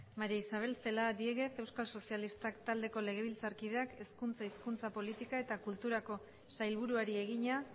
maría isabel celaá diéguez euskal sozialistak taldeko legebiltzarkideak hezkuntza hizkuntza politika eta kulturako sailburuari egina